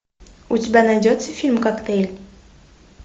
у тебя найдется фильм коктейль